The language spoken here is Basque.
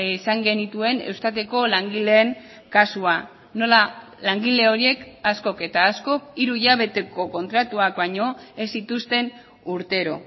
izan genituen eustateko langileen kasua nola langile horiek askok eta askok hiru hilabeteko kontratuak baino ez zituzten urtero